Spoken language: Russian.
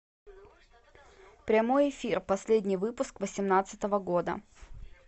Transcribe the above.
прямой эфир последний выпуск восемнадцатого года